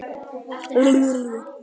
En verður málinu áfrýjað?